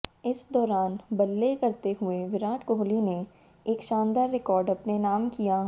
इस दौरान बल्ले करते हुए विराट कोहली ने एक शानदार रिकॉर्ड अपने नाम किया